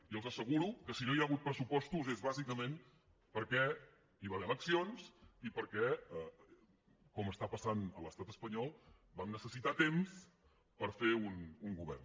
i els asseguro que si no hi ha hagut pressupostos és bàsicament perquè hi va haver eleccions i perquè com està passant a l’estat espanyol vam necessitar temps per fer un govern